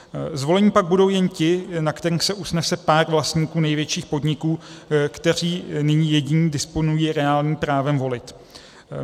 Zvoleni pak budou jen ti, na kterých se usnese pár vlastníků největších podniků, kteří nyní jediní disponují reálným právem volit.